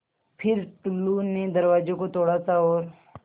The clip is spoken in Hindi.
फ़िर टुल्लु ने दरवाज़े को थोड़ा सा और